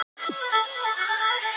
Baðst afsökunar á áróðri